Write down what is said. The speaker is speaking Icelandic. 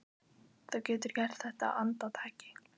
Þú getur gert þetta á andartaki.